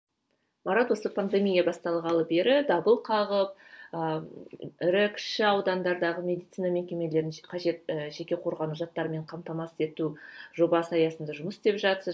марат осы пандемия басталғалы бері дабыл қағып ы ірі кіші аудандардағы медицина мекемелерін қажетті жеке қорғану заттармен қамтамасыз ету жобасы аясында жұмыс істеп жатырсыз